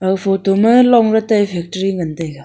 aga photo ma long ley tai factory ngan taiga.